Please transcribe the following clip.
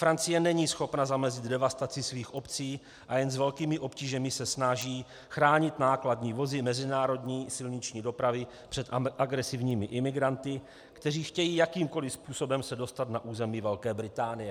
Francie není schopna zamezit devastaci svých obcí a jen s velkými obtížemi se snaží chránit nákladní vody mezinárodní silniční dopravy před agresivními imigranty, kteří chtějí jakýmkoli způsobem se dostat na území Velké Británie.